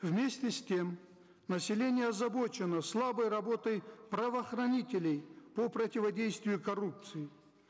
вместе с тем население озабочено слабой работой правоохранителей по противодействию коррупции